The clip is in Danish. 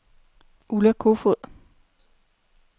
Ulla Kofod